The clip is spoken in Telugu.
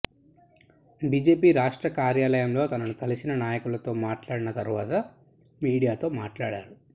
బిజెపి రాష్ట్ర కార్యాలయంలో తనను కలిసిన నాయకులతో మాట్లాడిన తర్వాత మీడియాతో మాట్లాడారు